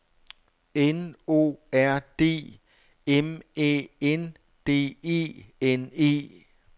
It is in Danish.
N O R D M Æ N D E N E